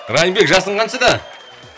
райымбек жасың қаншада